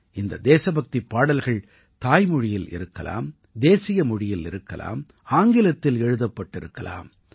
இந்த தேசபக்திப் பாடல்கள் தாய்மொழியில் இருக்கலாம் தேசியமொழியில் இருக்கலாம் ஆங்கிலத்தில் எழுதப்பட்டிருக்கலாம்